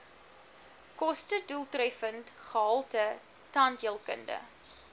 kostedoeltreffende gehalte tandheelkunde